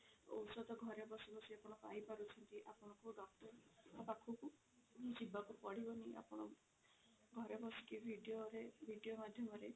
ଔଷଧ ଘରେ ବସି ବସି ଆପଣ ପାଇ ପାରୁଛନ୍ତି ଆପଣଙ୍କୁ doctor ଙ୍କ ପାଖକୁ ଯିବାକୁ ପଡିବନି ଆପଣ ଘରେ ବସିକି video ରେ video ମାଧ୍ୟମରେ